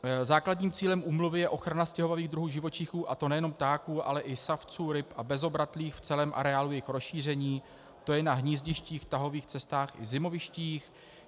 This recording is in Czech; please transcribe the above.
Základním cílem úmluvy je ochrana stěhovavých druhů živočichů, a to nejenom ptáků, ale i savců, ryb a bezobratlých v celém areálu jejich rozšíření, to je na hnízdištích, tahových cestách i zimovištích.